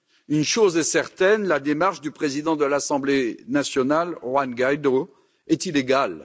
Une chose est certaine, la démarche du président de l'Assemblée nationale, Juan Guaidó, est illégale.